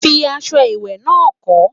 fí aṣọ ìwé nà kò